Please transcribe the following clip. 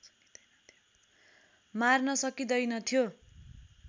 मार्न सकिँदैनथ्यो